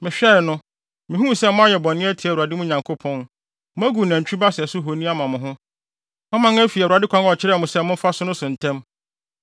Mehwɛe no, mihuu sɛ moayɛ bɔne atia Awurade, mo Nyankopɔn; Moagu nantwi ba sɛso honi ama mo ho. Moaman afi Awurade kwan a ɔkyerɛɛ mo sɛ momfa so no so ntɛm.